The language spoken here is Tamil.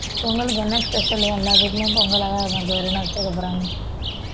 பொங்கலுக்கு என்ன special எல்லா வீட்டிலயும் பொங்கலாதான் இருக்கும் வேற என்ன வைச்சிருக்கப் போறாங்க